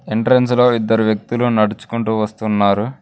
Entrance లో ఇద్దరు వ్యక్తులు నడుచుకుంటూ వస్తున్నారు.